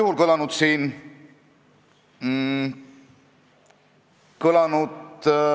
Kui te Riigikogu liikmena näete sellist õõvastavat kuritegu, nagu on vägistamine, siis te peaksite sellest võimuesindajatele teatama.